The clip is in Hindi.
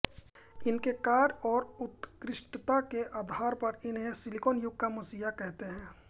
इनके कार्य और उत्कृष्टता के आधार पर इन्हें सिलिकन युग का मसीहा कहते हैं